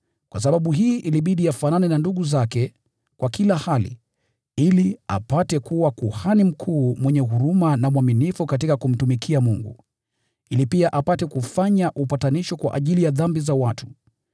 Kwa sababu hii ilibidi afanane na ndugu zake kwa kila hali, ili apate kuwa Kuhani Mkuu mwenye huruma na mwaminifu katika kumtumikia Mungu, ili pia apate kufanya upatanisho kwa ajili ya dhambi za watu.